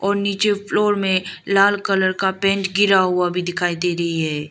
और नीचे फ्लोर में लाल कलर का पेंट गिरा हुआ भी दिखाई दे रही है।